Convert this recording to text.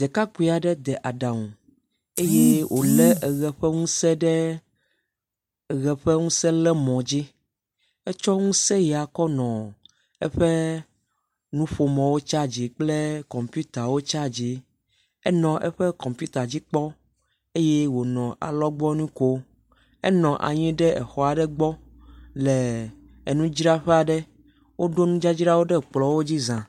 Ɖekakpui aɖe ɖe aɖaŋu eye wolé ʋe ƒe ŋuse ɖe ʋe ƒe ŋuse ɖe mɔ dzi. Etsɔ ŋuse ya kɔ nɔ eƒe nuƒomɔwo charging kple kɔmpitawo charging. Enɔ eƒe kɔmpita dzi kpɔm eye wonɔ alɔgbɔnui kom. Enɔ anyi ɖe xɔ aɖe gbɔ le nudzraƒe aɖe. Woɖo nudzadzrawo ɖe kplɔ̃a dzi zã.